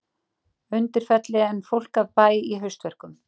Undirfelli en fólk af bæ í haustverkum.